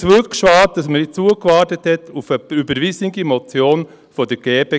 Ich finde es wirklich schade, dass man nicht zugewartet hat auf die überwiesene Motion der GPK